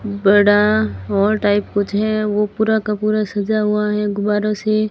बड़ा hall type कुछ है वो पूरा का पूरा सजा हुआ है गुब्बारों से।